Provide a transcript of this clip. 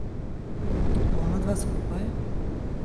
Onadva skupaj?